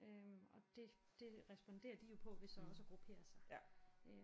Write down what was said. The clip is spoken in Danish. Øh og det det responderer de jo på ved så også at gruppere sig